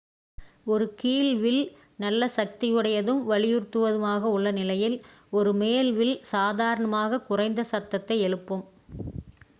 ஒரு கீழ் வில் நல்ல சக்தியுடையதும் வலியுறுத்துவதாகவும் உள்ள நிலையில் ஒரு மேல் வில் சாதாரணமாகக் குறைந்த சத்தத்தை எழுப்பும்